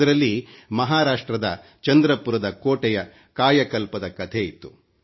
ಅದರಲ್ಲಿ ಮಹಾರಾಷ್ಟ್ರದ ಚಂದ್ರಪುರದ ಕೋಟೆಯ ಕಾಯಕಲ್ಪದ ಕಥೆ ಇತ್ತು